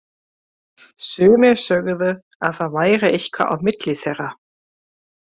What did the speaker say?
Sumir sögðu að það væri eitthvað á milli þeirra.